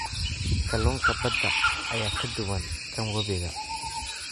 Kalluunka badda ayaa ka duwan kan webiga.